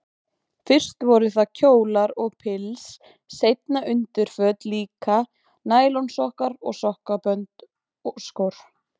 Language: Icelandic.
Fyrst voru það kjólar og pils, seinna undirföt líka, nælonsokkar og sokkabönd, skór.